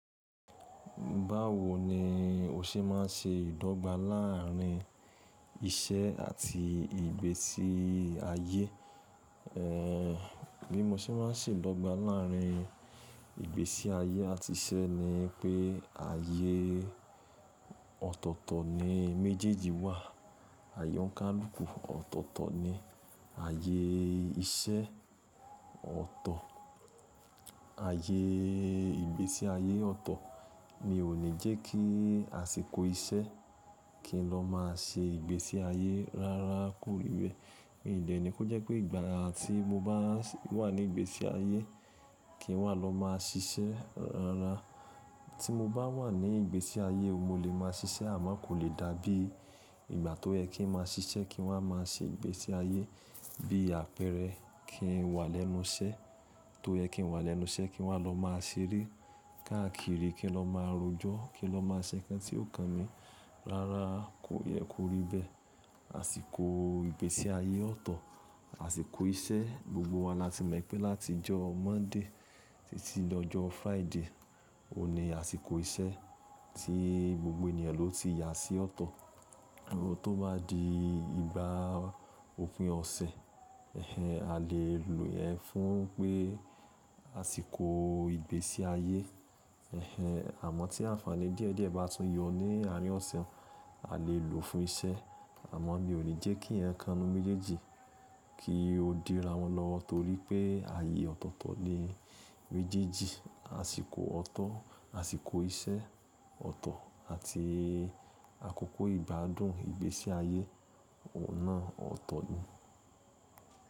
Báwo ni o ṣe máa ń ṣe ìdọ́gba láàrin iṣẹ́ àti ìgbésí ayé? Ehn, bí mo ṣe máa ń ṣe ìdọ́gba láàrin ìgbésí ayé àti iṣẹ́ ni pé ayé ọ̀tọ̀ọ̀tọ̀ ni méjèèjì wà. Àyẹ ọ̀ n kánluku, ọ̀tọ̀ọ̀tọ̀ ni ayé iṣẹ́ ọ̀tọ̀, ayé ìgbésí ayé ọ̀tọ̀ ni ó ní jẹ́ kí àsìkò iṣẹ́ kí n lọ máa ṣe ìgbésí ayé rárá kórí bẹ́ẹ̀. Mi ò lè ní pé ó jẹ́ pé ìgbà tí mo bá wà ní ìgbésí ayé kí n wà lọ máa ṣiṣẹ́ rárá. Tí mo bá wà ní ìgbésí ayé mo lè máa ṣiṣẹ́ àmọ́ kò lè dàbí ìgbà tó yẹ kí n máa ṣiṣẹ́ kí n wà máa ṣe ìgbésí ayé. Bí apẹ̀rẹ̀ kí n wà lẹ́nu iṣẹ́, tó yẹ kí n wà lẹ́nu iṣẹ́ kí n wà lọ máa ṣeré, káàkiri kí n lọ máa rojọ́, kí n lọ máa ṣe nǹkan tí ó kan mi rárá kò yẹ kó rí bẹ́ẹ̀. Àsìkò ìgbésí ayé ọ̀tọ̀, àsìkò iṣẹ́, gbogbo wa la ti mọ̀ pé láti ọjọ́ Monday títí dọjọ́ Friday o ní àsìkò iṣẹ́ tí gbogbo ènìyàn ló ti yà sí ọ̀tọ̀. Tó bá di ìgbà òpin ọ̀sẹ̀, ẹhen a lè lo ẹ fún pé àsìkò ìgbésí ayé, ẹhen àmọ́ tí àǹfààní díẹ̀ díẹ̀ bá tún yọ ní àárín ọ̀sẹ̀ a lè lò fún iṣẹ́. Àmọ́ mi ò ní jẹ́ kí ẹ́kanu méjèèjì kí ó dẹra mọ́ lọ torí pé ayé ọ̀tọ̀ọ̀tọ̀ ni méjèèjì àsìkò ọ̀tọ̀, àsìkò iṣẹ́ ọ̀tọ̀ àti àkókò ìgbádùn ìgbésí ayé ọ̀nà ọ̀tọ̀ ni.